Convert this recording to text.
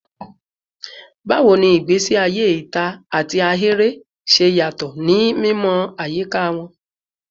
Bawo ni igbesi aye ita ati ahere ṣe yatọ ni mimọ ayika wọn?